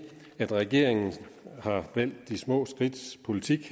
at regeringen valgt de små skridts politik